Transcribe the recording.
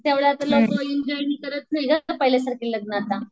त्यामुळे आता लग्न एन्जॉय करत नाही ना पाहिलेसारखे लग्न आता.